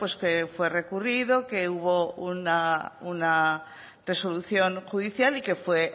que fue recurrido que hubo una resolución judicial y que fue